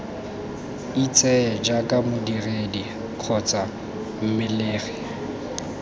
itseye jaaka modiredi kgotsa mmelegi